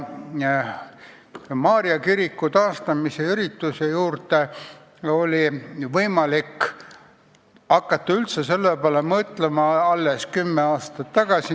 Maarja kiriku taastamisele oli võimalik hakata üldse mõtlema alles 10 aastat tagasi.